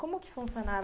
Como que funcionava?